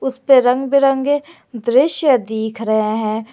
इस पे रंग बिरंगे दृश्य दिख रहे हैं।